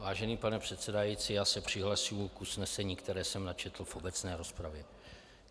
Vážený pane předsedající, já se přihlašuji k usnesení, které jsem načetl v obecné rozpravě.